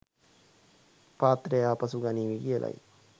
පාත්‍රය ආපසු ගනීවි කියලයි.